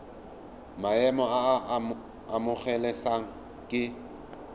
maemo a a amogelesegang ke